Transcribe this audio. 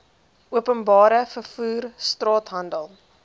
openbare vervoer straathandel